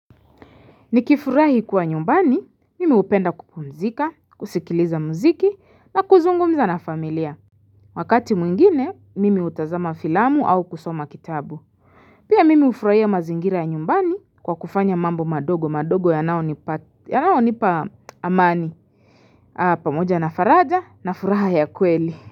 Nikifurahi kuwa nyumbani, mimi upenda kukumzika, kusikiliza muziki na kuzungumza na familia. Wakati mwingine, mimi utazama filamu au kusoma kitabu. Pia mimi ufurahia mazingira ya nyumbani kwa kufanya mambo madogo, madogo yanaonipa amani. Ha, pamoja na faraja na furaha ya kweli.